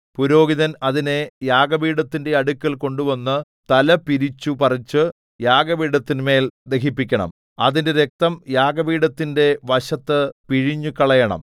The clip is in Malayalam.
പുരോഹിതൻ അതിനെ യാഗപീഠത്തിന്റെ അടുക്കൽ കൊണ്ടുവന്നു തല പിരിച്ചുപറിച്ചു യാഗപീഠത്തിന്മേൽ ദഹിപ്പിക്കണം അതിന്റെ രക്തം യാഗപീഠത്തിന്റെ വശത്ത് പിഴിഞ്ഞുകളയണം